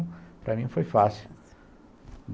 para mim, foi fácil.